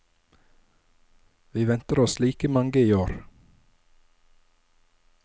Vi venter oss like mange i år.